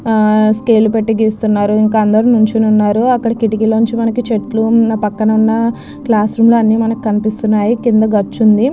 Scale పెట్టి గీస్తున్నాడు. ఇంత అందరూ నిల్చనే ఉన్నారు. అక్కడున్న కిటికీలో నుంచి అన్ని చెట్లు పక్కనున్న క్లాస్ రూమ్ లోనే కనిపిస్తున్నాయి. కింద గచ్చుంది.